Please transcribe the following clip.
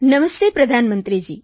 નમસ્તે પ્રધાનમંત્રીજી